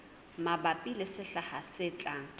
mabapi le sehla se tlang